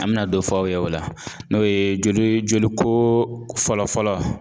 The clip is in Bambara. An bɛna dɔ fɔ aw ye o la n'o ye joli jolikoo fɔlɔ-fɔlɔ